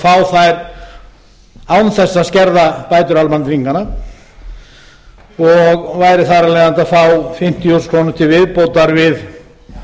fá þær án þess að skerða bætur almannatrygginganna og væru þar af leiðandi að fá fimmtíu þúsund krónur til viðbótar við